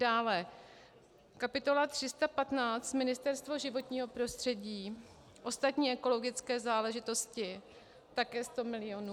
Dále kapitola 315 Ministerstvo životního prostředí, ostatní ekologické záležitosti, také 100 milionů.